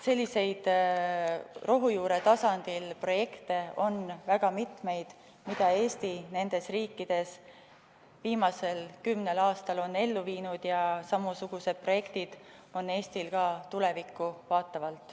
Selliseid rohujuure tasandil projekte on väga mitmeid, mida Eesti nendes riikides viimasel kümnel aastal on ellu viinud, ja samasugused projektid on Eestil ka tulevikku vaatavalt.